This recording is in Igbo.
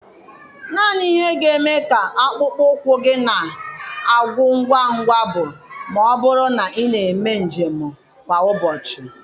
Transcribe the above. Naanị ihe ga-eme ka akpụkpọ ụkwụ gị na-agwụ ngwa ngwa bụ ma ọ bụrụ na ị na-eme njem kwa ụbọchị.